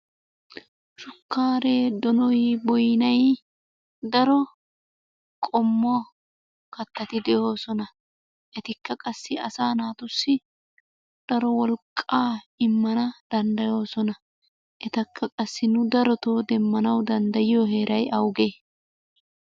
Shukkaare, donoy, boynay daro qommo kattati de'oosona. Etikka qassi asaa naatussi daro wolqqaa immana danddayoosona. Etakka qassi nu darotoo demmanawu danddayiyo heeray awugee?